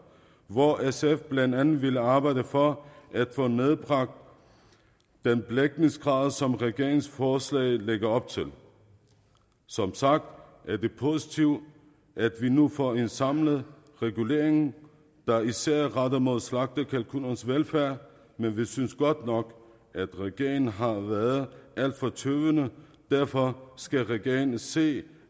hvor sf blandt andet vil arbejde for at få nedbragt den belægningsgrad som regeringsforslaget lægger op til som sagt er det positivt at vi nu får en samlet regulering der især er rettet mod slagtekalkuners velfærd men vi synes godt nok at regeringen har været alt for tøvende derfor skal regeringen se